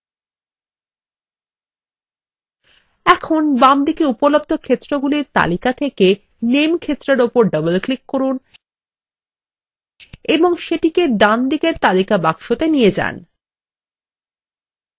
এখন বামদিকে উপলব্ধ ক্ষেত্রগুলির তালিকা থেকে name ক্ষেত্রের উপর double click করুন এবং সেটিকে ডানদিকের তালিকা box নিয়ে যান